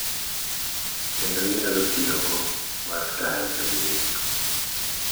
Kendo inyalo tiyogo mar tayo jowinjo, .